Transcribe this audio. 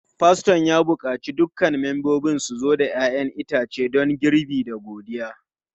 Faston ya buƙaci dukkan membobin su zo da 'ya'yan itace don girbi da godiya.